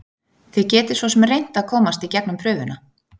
Þið getið svosem reynt að komast í gegnum prufuna.